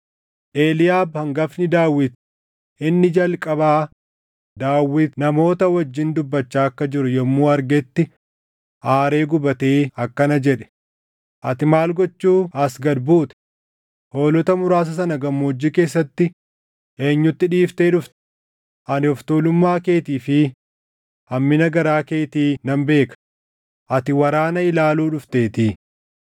Eliiyaab hangafni Daawit inni jalqabaa Daawit namoota wajjin dubbachaa akka jiru yommuu argetti aaree gubatee akkana jedhe; “Ati maal gochuu as gad buute? Hoolota muraasa sana gammoojjii keessatti eenyutti dhiiftee dhufte? Ani of tuulummaa keetii fi hammina garaa keetii nan beeka; ati waraana ilaaluu dhufteetii.”